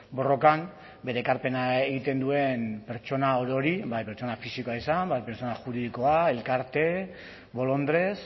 borrokan bere ekarpena egiten duen pertsona orori bai pertsona fisikoa izan bai pertsona juridikoa elkarte bolondres